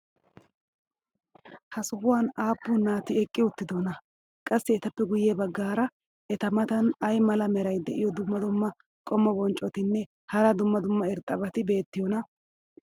ha sohuwan aappun naati eqqi uttidonaa? qassi etappe guye bagaara eta matan ay mala meray diyo dumma dumma qommo bonccotinne hara dumma dumma irxxabati beetiyoonaa?